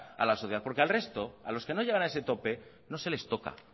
a la sociedad porque al resto a los que no llegan a ese tope no se les toca